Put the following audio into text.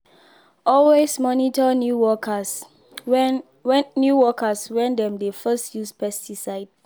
always monitor new workers when new workers when dem dey first use pesticide.